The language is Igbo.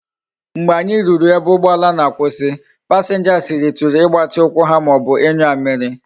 Mgbe anyi ruru na ebe ugboala na akwusi, passengers rituru igbati ukwu ha maobu inyu amiri